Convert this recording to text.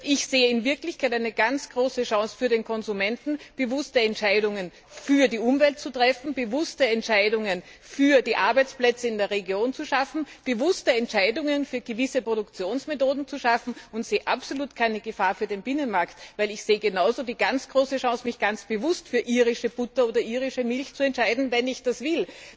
Ich sehe in Wirklichkeit eine ganz große Chance für den Konsumenten, bewusste Entscheidungen für die Umwelt zu treffen, bewusste Entscheidungen für die Arbeitsplätze in der Region zu treffen, bewusste Entscheidungen für gewisse Produktionsmethoden zu treffen, und ich sehe absolut keine Gefahr für den Binnenmarkt, weil ich genauso die große Chance sehe, mich ganz bewusst für irische Butter oder irische Milch zu entscheiden, wenn ich das will.